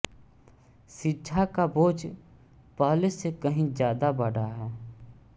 शिक्षा का बोझ पहले से कहीं ज्यादा बढ़ा है